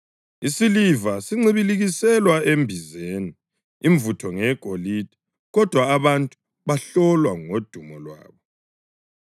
Isiliva sincibilikiselwa embizeni imvutho ngeyegolide, kodwa abantu bahlolwa ngodumo lwabo.